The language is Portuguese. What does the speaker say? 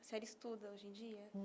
A senhora estuda hoje em dia?